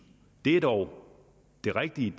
det er dog det rigtige